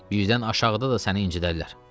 Birdən aşağıda da səni incidərlər.